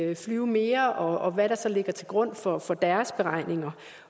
vil flyve mere og hvad der så ligger til grund for for deres beregninger